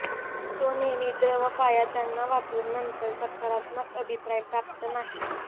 तो नेहमी द्रव पाया त्यांना वापरून नंतर सकारात्मक अभिप्राय प्राप्त नाही